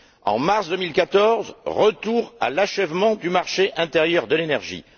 En mars 2014, retour à l'achèvement du marché intérieur de l'énergie.